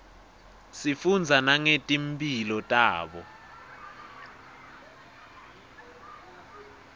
sifundza nangeti mphilo tabo